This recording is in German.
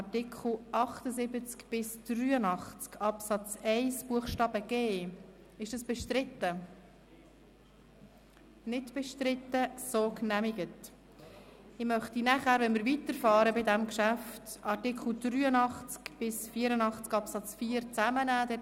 Wenn wir nächste Woche mit diesem Geschäft weiterfahren, möchte ich Artikel 83 Absatz 1 Buchstabe h bis Artikel 84 Absatz 4 zusammennehmen.